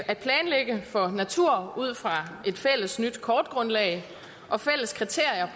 at planlægge for natur ud fra et fælles nyt kortgrundlag og fælles kriterier